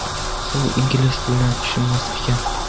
U ingliz tilini tushunmas ekan.